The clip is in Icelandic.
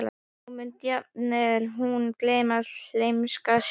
Og nú mundi jafnvel hún gleymast, gleymskan sjálf.